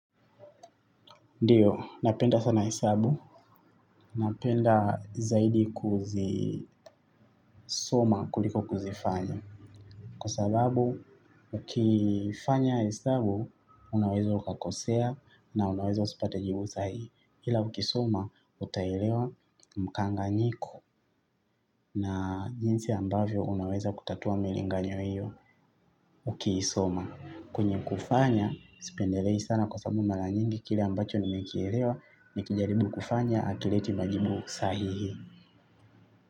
Ndiyo, napenda sana hesabu. Napenda zaidi kuzisoma kuliko kuzifanya. Kwa sababu, ukifanya hesabu, unaweza ukakosea na unaweza usipate jiibu saa hii. Ila ukisoma, utaelewa mkanganyiko na jinsi ambavyo unaweza kutatua miringanyo hiyo ukiisoma. Kwenye kufanya, sipendelei sana kwa sababu mara nyingi kile ambacho nimekielewa nikijaribu kufanya hakileti majibu sahihi.